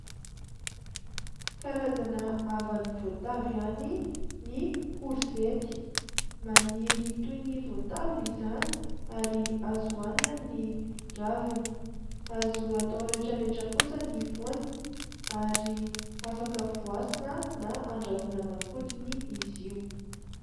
Karazana havan'ny voatavo ihany ny korzety. Maniry toy ny voatavo izany, ary azo hanina ny raviny. Azo atao rehetrarehetra kosa ny voaniny, ary afaka voasana na andrahoana aman-kodiny izy io.